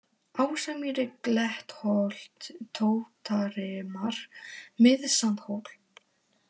Ásamýri, Klettholt, Tóttarrimar, Mið-Sandhóll